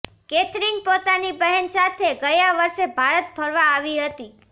Catherine પોતાની બહેન સાથે ગયા વર્ષે ભારત ફરવા આવી હતી